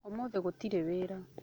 Ũmũthĩ gũtirĩ wĩra.